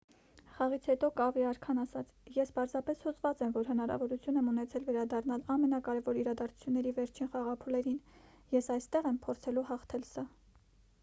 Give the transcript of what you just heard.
խաղից հետո կավի արքան ասաց․«ես պարզապես հուզված եմ որ հնարավորություն եմ ունեցել վերադառնալ ամենակարևոր իրադարձությունների վերջին խաղափուլերին։ ես այստեղ եմ՝ փորձելու հաղթել սա»։